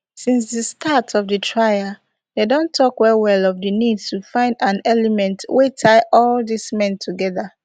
since di start of di trial dem don tok wellwell of di need to find an element wey tie all dis men togeda